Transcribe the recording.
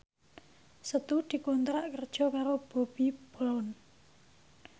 Setu dikontrak kerja karo Bobbi Brown